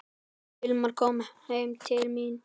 Hilmar kom heim til mín.